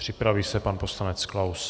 Připraví se pan poslanec Klaus.